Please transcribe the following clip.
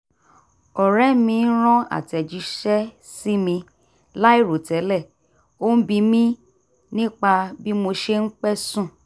ọ̀rẹ́ mi ran àtẹ̀jíṣẹ́ sí mi láìròtẹ́lẹ̀ ó ń bi mi nípa bí mo ṣe ń pẹ́ sùn